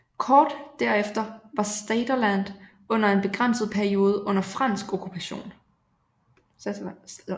Kort der efter var Saterland under en begrænset periode under fransk okkupation